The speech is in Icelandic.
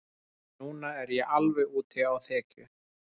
Núna er ég alveg úti á þekju.